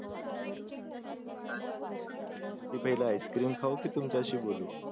मी पहिले ice cream खाऊ कि तुमचा शी बोलू